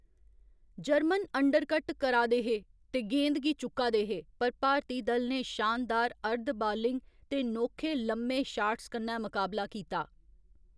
German undercut करा दे हे ते गेंद गी चुक्का दे हे, पर भारती दल ने शानदार अर्ध बालिंग ते नोखे लम्मे शाट्स कन्नै मकाबला कीता।